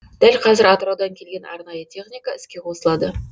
дәл қазір атыраудан келген арнайы техника іске қосылады